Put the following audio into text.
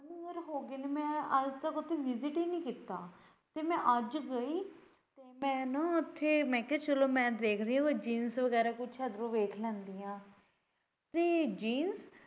ten year ਹੋਗੇ ਨੇ ਮੈਂ ਅੱਜ ਤੱਕ ਉੱਥੇ visit ਹੀ ਨਈ ਕੀਤਾ ਤੇ ਮੈਂ ਅੱਜ ਗਈ ਮੈਂ ਨਾ ਉੱਥੇ ਮੈਂ ਕਿਹਾ ਚੱਲੋ ਮੈਂ ਦੇਖਦੇ ਹੋਏ jeans ਬਗੈਰਾ ਕੁੱਛ ਅੰਦਰੋਂ ਵੇਖ ਲੈਂਦੀ ਐਂ free jeans